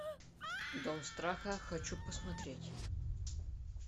дом страха хочу посмотреть